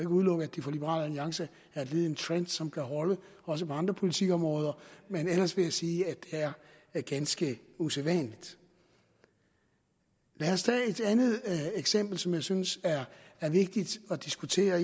udelukke at det for liberal alliance er et led i en trend som kan holde også på andre politikområder men ellers vil jeg sige at det er ganske usædvanligt lad os tage et andet eksempel som jeg synes er vigtigt at diskutere